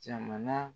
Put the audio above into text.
Jamana